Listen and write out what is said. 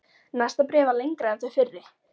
Næsta bréf var lengra en þau fyrri.